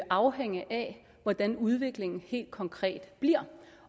afhænge af hvordan udviklingen helt konkret bliver